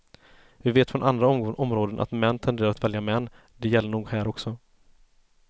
Vi vet från andra områden att män tenderar att välja män, det gäller nog här också.